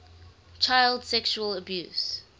child sexual abuse